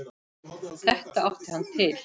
Þetta átti hann til.